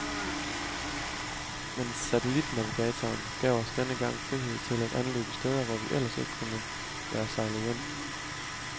Men satellitnavigatoren gav os denne gang frihed til at anløbe steder, hvor vi ellers ikke kunne være sejlet ind.